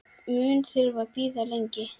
Mun þurfa að bíða lengi.